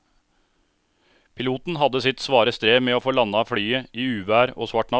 Piloten hadde sitt svare strev med å få landet flyet i uvær og svart natt.